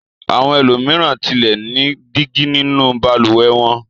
Àwọn ẹlòmíràn tilẹ̀ ní dígí nínú balùwẹ̀ wọn.